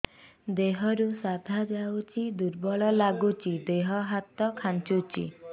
ଦେହରୁ ସାଧା ଯାଉଚି ଦୁର୍ବଳ ଲାଗୁଚି ଦେହ ହାତ ଖାନ୍ଚୁଚି